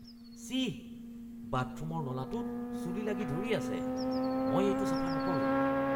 চিঃ! বাথৰুমৰ নলাটোত চুলি লাগি ধৰি আছে। মই এইটো চাফা নকৰোঁ।